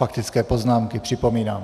Faktické poznámky, připomínám.